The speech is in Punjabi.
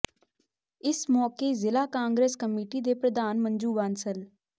ਇਸ ਮੌਕੇ ਜ਼ਿਲ੍ਹਾ ਕਾਗਰਸ਼ ਕਮੇਟੀ ਦੇ ਪ੍ਰਧਾਨ ਮੰਜੂ ਬਾਂਸਲ